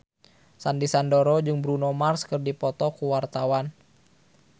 Sandy Sandoro jeung Bruno Mars keur dipoto ku wartawan